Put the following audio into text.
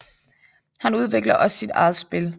Han udvikler også sit eget spil